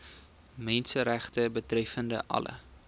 menseregte betreffende alle